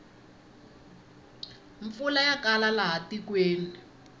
mpfula ya kala laha tikweni